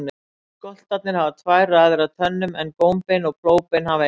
Skoltarnir hafa tvær raðir af tönnum en gómbein og plógbein hafa eina.